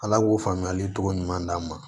Ala k'o faamuyali cogo ɲuman d'an ma